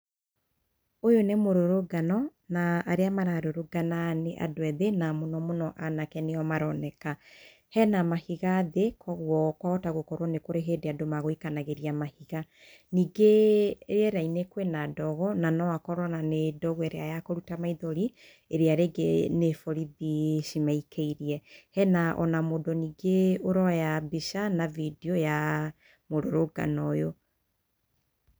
Ũyũ nĩ mũrũrũngano, na arĩa mararũrũngana nĩ andũ ethĩ, na mũno mũno anake nĩo maroneka. Hena mahiga thĩ, koguo kwahota gũkorwo he andũ megũikanagĩria mahiga. Ningĩ rĩera-inĩ kwĩna ndogo, no akorwo nĩ ndogo ĩrĩa ya gũita maithori, ĩrĩa rĩngĩ nĩ borithi cimaikĩirie. Hena ona mũndũ ningĩ ũroya mbica na video ya mũrũrũngano ũyũ.